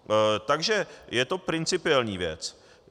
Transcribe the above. Takže je to principiální věc.